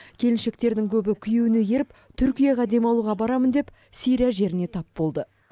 келіншектердің көбі күйеуіне еріп түркияға демалуға барамын деп сирия жеріне тап болды